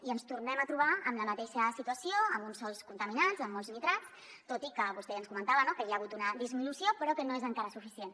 i i ens tornem a trobar en la mateixa situació amb uns sòls contaminats amb molts nitrats tot i que vostè ja ens comentava no que n’hi ha hagut una disminució però que no és encara suficient